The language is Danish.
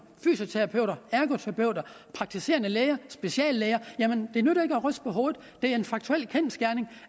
fysioterapeuter ergoterapeuter praktiserende læger og speciallæger det nytter ikke at ryste på hovedet det er en kendsgerning